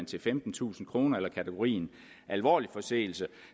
til femtentusind kroner og i kategorien alvorlig forseelse